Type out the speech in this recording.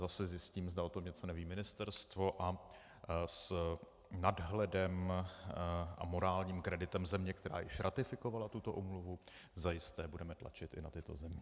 Zase zjistím, zda o tom něco neví Ministerstvo, a s nadhledem a morálním kreditem země, která již ratifikovala tuto úmluvu, zajisté budeme tlačit i na tyto země.